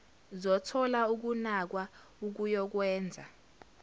zothola ukunakwa okuyokwenza